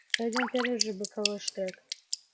пойдём в первый же боковой штрек